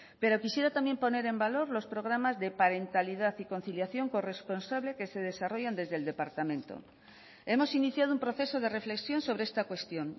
pero quisiera también poner en valor los programas de parentalidad y conciliación corresponsable que se desarrollan desde el departamento hemos iniciado un proceso de reflexión sobre esta cuestión